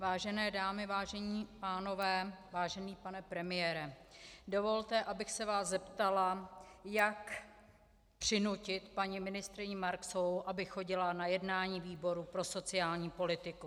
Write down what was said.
Vážené dámy, vážení pánové, vážený pane premiére, dovolte, abych se vás zeptala, jak přinutit paní ministryni Marksovou, aby chodila na jednání výboru pro sociální politiku.